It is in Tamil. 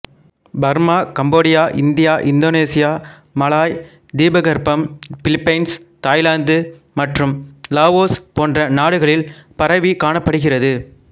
Burma Cambodia India Indonesia Malay தீபகற்பம் பிலிபைன்ஸ் தாய்லாந்து மற்றும் லாவோஸ் போன்ற நாடுகளில் பரவிக்காணப்படுகிறது